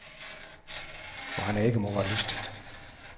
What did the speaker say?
Og han er ikke moralist.